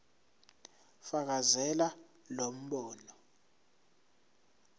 fakazela lo mbono